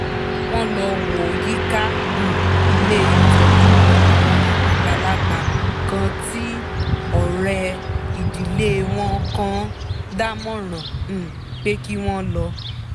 wọ́n lọ wo yíká um ilé ìtọ́jú àwọn àgbàlagbà kan tí ọ̀rẹ́ ìdílé wọn kan dámọ̀ràn um pé kí wọ́n lọ